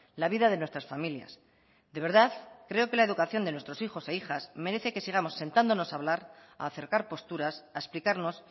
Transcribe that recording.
la vida de nuestras familias de verdad creo que la educación de nuestros hijos e hijas merece que sigamos sentándonos a hablar a acercar posturas a explicarnos